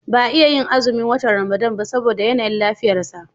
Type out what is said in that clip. Ba iya yin azumin watan Ramadan ba saboda yanayin lafiyarsa.